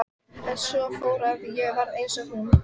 En svo fór að ég varð eins og hún.